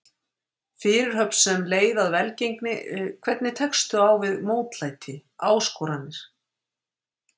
Fyrirhöfn sem leið að velgengni Hvernig tekstu á við mótlæti, áskoranir?